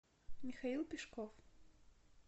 михаил пешков